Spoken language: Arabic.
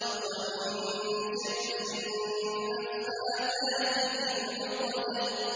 وَمِن شَرِّ النَّفَّاثَاتِ فِي الْعُقَدِ